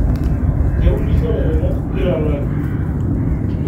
keunisho ilairemok kila olari